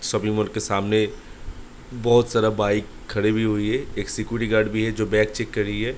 Shopping mall के सामने बहुत सारा बाइक खड़ी भी हुई है | एक सिक्‍योरिटी गार्ड भी है जो बैग चैक कर रही है ।